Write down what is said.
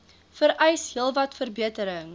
vereis heelwat verbetering